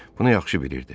Bunu yaxşı bilirdi.